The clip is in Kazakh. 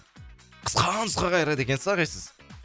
қысқа нұсқа қайырады екенсіз ағай сіз